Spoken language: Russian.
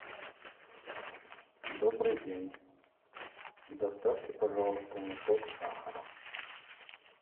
добрый день доставьте пожалуйста мешок сахара